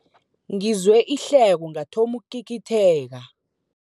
Ngizwe ihleko ngathoma ukugigitheka.